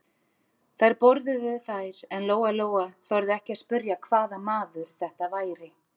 Þær borðuðu þær en Lóa-Lóa þorði ekki að spyrja hvaða maður þetta væri.